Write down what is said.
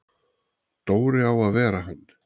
Dóri á að vera hann!